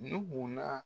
Nuhun na